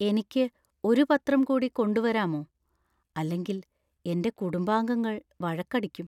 എനിക്ക് ഒരു പത്രം കൂടി കൊണ്ടുവരാമോ ? അല്ലെങ്കിൽ എന്‍റെ കുടുംബാംഗങ്ങൾ വഴക്കടിക്കും.